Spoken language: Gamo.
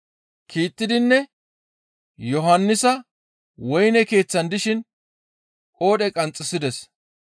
Kiittidinne Yohannisa woyne keeththan dishin qoodhe qanxxisides.